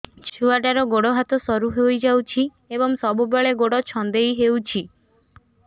ଛୁଆଟାର ଗୋଡ଼ ହାତ ସରୁ ହୋଇଯାଇଛି ଏବଂ ସବୁବେଳେ ଗୋଡ଼ ଛଂଦେଇ ହେଉଛି